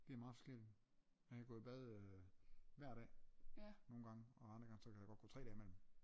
Det er meget forskelligt jeg kan gå i bad øh hver dag nogengange og andre gange så kan der godt gå tre dage imellem